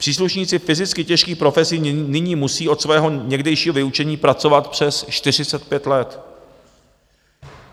Příslušníci fyzicky těžkých profesí nyní musí od svého někdejšího vyučení pracovat přes 45 let.